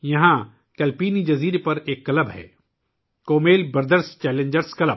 کلپینی جزیرے پر ایک کلب ہے کمیل برادرز چیلنجرز کلب